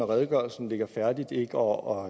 redegørelsen og